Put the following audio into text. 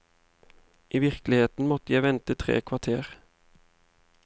I virkeligheten måtte jeg vente tre kvarter.